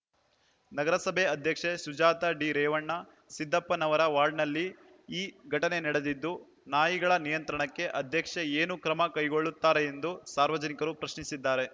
ನಗರಸಭೆ ಅಧ್ಯಕ್ಷೆ ಸುಜಾತಾ ಡಿರೇವಣ ಸಿದ್ದಪ್ಪನವರ ವಾರ್ಡ್‌ನಲ್ಲಿ ಈ ಘಟನೆ ನಡೆದಿದ್ದು ನಾಯಿಗಳ ನಿಯಂತ್ರಣಕ್ಕೆ ಅಧ್ಯಕ್ಷೆ ಏನು ಕ್ರಮ ಕೈಗೊಳ್ಳುತ್ತಾರೆಂದು ಸಾರ್ವಜನಿಕರು ಪ್ರಶ್ನಿಸಿದ್ದಾರೆ